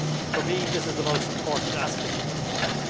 For me this is the most important aspect of the report.